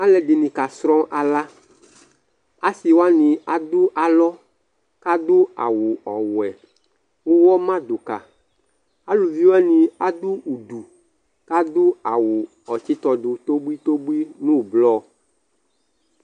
ɑlωɗiɲi ɑlɑ ɑšiwi ɑɖω ɑlõ ɑɖω ɑwω ɔwé ωwɔ mɑɖωkɑ ɑlω viwɑɲi ɑɖu ωblω ɑwω ɔtsitɔɗω tóbωitóbωi ɲωblɔ